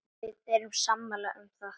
Við erum sammála um það.